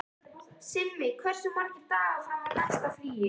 Simmi, hversu margir dagar fram að næsta fríi?